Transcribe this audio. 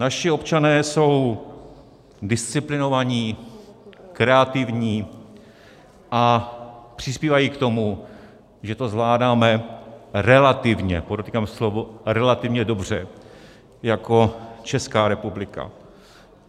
Naši občané jsou disciplinovaní, kreativní a přispívají k tomu, že to zvládáme relativně - podotýkám slovo relativně - dobře jako Česká republika.